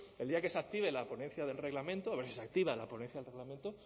el día que se active la ponencia del reglamento a ver si se activa la ponencia del reglamento